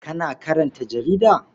Kana karanta jarida?